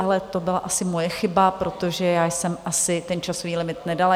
Ale to byla si moje chyba, protože já jsem asi ten časový limit nedala.